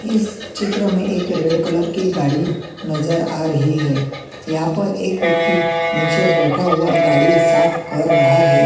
इस चित्र में एक रेड कलर की गाड़ी नजर आ रही है यहाँ पर नीचे एक व्यक्ति बैठा हुआ गाड़ी साफ कर रहा है।